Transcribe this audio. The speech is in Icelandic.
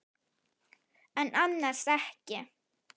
En annars ekki.